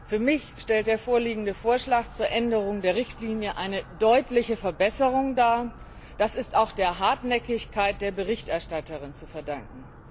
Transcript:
Für mich stellt der vorliegende Vorschlag zur Änderung der Richtlinie eine deutliche Verbesserung dar. Das ist auch der Hartnäckigkeit der Berichterstatterin zu verdanken.